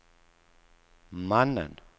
mannen